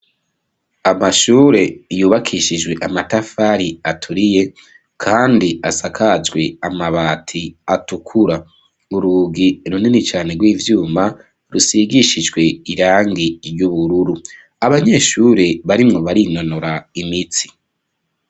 amashure yubakishijwe amatafari aturiye kandi asakajwe amabati atukura uruugi runini cyane rw'ivyuma rusigishijwe irangi ry'ubururu abanyeshuri barimu barinonora imitsi